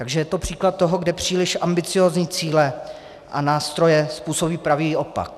Takže je to příklad toho, kde příliš ambiciózní cíle a nástroje způsobí pravý opak.